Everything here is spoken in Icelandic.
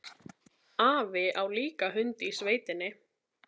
Afi á líka hund í sveitinni.